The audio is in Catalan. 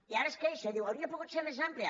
i ara es queixa i diu hauria pogut ser més àmplia